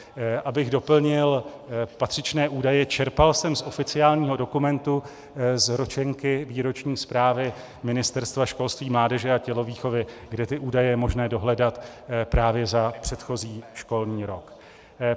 Abych doplnil patřičné údaje, čerpal jsem z oficiálního dokumentu, z Ročenky výroční zprávy Ministerstva školství, mládeže a tělovýchovy, kde ty údaje je možné dohledat právě za předchozí školní rok.